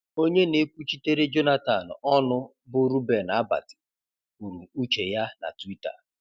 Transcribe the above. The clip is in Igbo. Onye na-ekwuchitere Jonathan ọnụ bụ Reuben Abati, kwuru uche ya na Twitter.